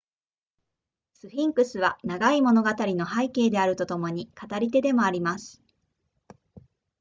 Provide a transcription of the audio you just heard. スフィンクスは長い物語の背景であるとともに語り手でもあります